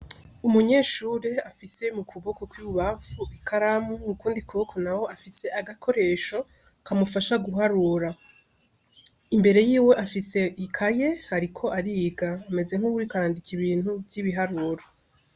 Umunyeshure afise mu kuboko kw'ibubafu ikaramu nu kundi kuboko na wo afise agakoresho kamufasha guharura imbere yiwe afise ikaye hariko ariga ameze nk'uwuri karandika ibintu vy'ibiharura.